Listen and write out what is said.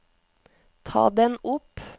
ta den opp